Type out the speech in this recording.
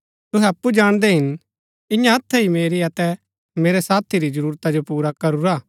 तुहै अप्पु जाणदै हिन इन्या हत्थै ही मेरी अतै मेरै साथी री जरूरता जो पुरा करूरा